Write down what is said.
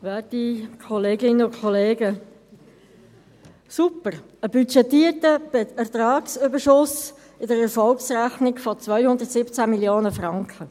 Super, ein budgetierter Ertragsüberschuss in der Erfolgsrechnung von 217 Mio. Franken!